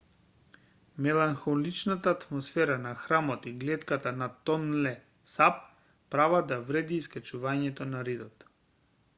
меланхоличната атмосфера на храмот и глетката над тонле сап прават да вреди искачувањето на ридот